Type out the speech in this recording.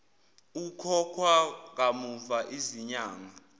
ukhokhwa kamuva zinyanga